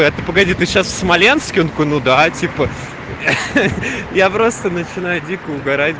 это погоди ты сейчас смоленске ну да типа я просто начинаю дико угорать